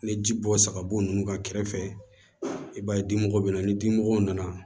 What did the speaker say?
Ni ji bɔ saga bo nunnu ka kɛrɛfɛ i b'a ye dimɔgɔw bɛ na ni dimɔgɔ na